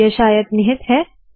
यह शायद निहित है